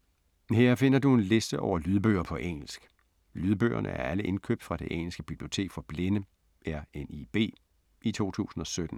Her finder du en liste over lydbøger på engelsk. Lydbøgerne er alle indkøbt fra det engelske bibliotek for blinde, RNIB, i 2017.